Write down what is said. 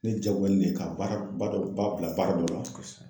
Ne jagoyalen de ka baaraba dɔ ba bila baara dɔ